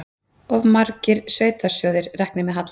Of margar sveitarsjóðir reknir með halla